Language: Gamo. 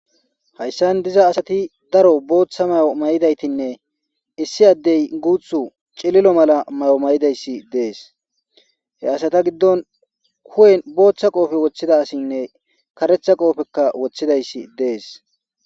Hayssan diza asati daro booththa mayo may'idaytinne issi addey guuthu cililo mala mayo may'idayssi dees he asata giddon kuhen booththa qoofe woththida asinne karetha qoofekka woththidayssi dees